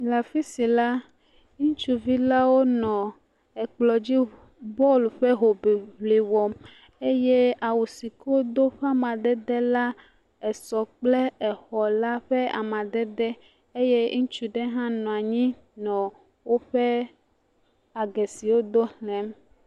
Le afi sia la, ŋutsuvi la wonɔ ekplɔ dzi bɔl ƒe hoŋiŋli wɔm eye awu si ke amadede wodo la esɔ kple exɔ la ƒe amadede eye ŋutsu la hã nɔ anyi nɔ woƒe age si wodo xlẽm.